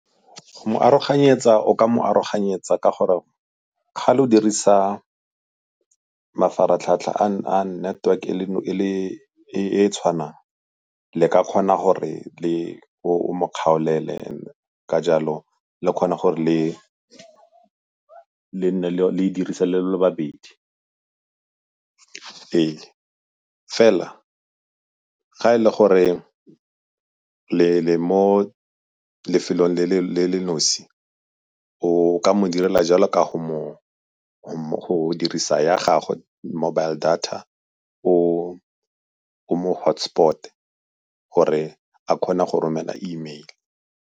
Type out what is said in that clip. Go mo aroganyetswa o ka mo aroganyetswa ka gore ga le dirisa mafaratlhatlha a network e e tshwana le ka kgona gore o mo kgaolele ka jalo le kgone gore le dirise le babedi. Fela ga e le gore le mo lefelong le le nosi o ka mo direla jalo ka go dirisa ya gago mobile data o mo hotspot-e gore a kgone go romela email.